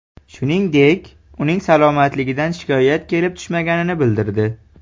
Shuningdek, uning salomatligidan shikoyat kelib tushmaganini bildirdi.